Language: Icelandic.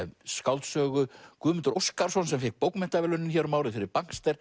skáldsögu Guðmundur Óskarsson sem fékk bókmenntaverðlaunin hér um árið fyrir